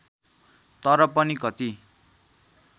तर पनि कति